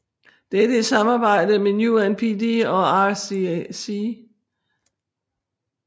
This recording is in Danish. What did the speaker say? Dette i samarbejde med UNDP og IRC